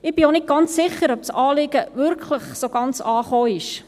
Ich bin auch nicht ganz sicher, ob das Anliegen wirklich ganz angekommen ist: